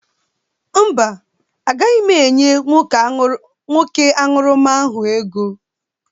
Mba, agaghị m enye nwoke ahụ aṅụrụma ego